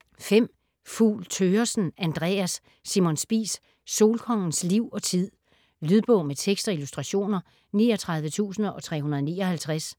Fugl Thøgersen, Andreas: Simon Spies: solkongens liv og tid Lydbog med tekst og illustrationer 39359